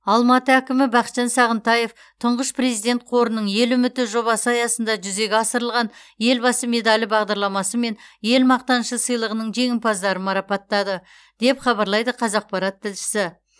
алматы әкімі бақытжан сағынтаев тұңғыш президент қорының ел үміті жобасы аясында жүзеге асырылған елбасы медалі бағдарламасы мен ел мақтанышы сыйлығының жеңімпаздарын марапаттады деп хабарлайды қазақпарат тілшісі